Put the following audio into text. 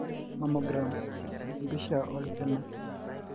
Mammogram:empisha olkina.